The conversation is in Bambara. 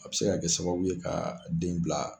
A bɛ se ka kɛ sababu ye ka den bila.